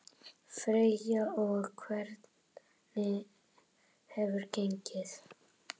Freyja: Og hvernig hefur gengið?